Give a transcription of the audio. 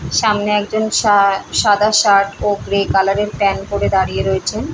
সামনে একজন সা সাদা শার্ট ও গ্রে কালার -এর প্যান্ট পড়ে দাঁড়িয়ে রয়েছেন।